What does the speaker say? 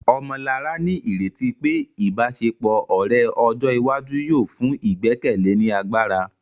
Ọmọlará ní ìrètí pé ìbáṣepọ̀ ọ̀rẹ́ ọjọ́ iwájú yóò fún ìgbẹ́kẹ̀lé ní agbára